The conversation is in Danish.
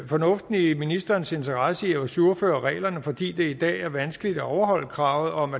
fornuften i ministerens interesse i at ajourføre reglerne fordi det i dag er vanskeligt at overholde kravet om